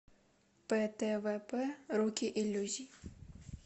птвп руки иллюзий